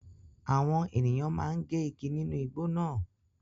Àwọn ènìyàn máa ń gé igi nínú igbó náà.